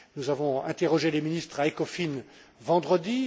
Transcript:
Nous avons interrogé les ministres à ECOFIN vendredi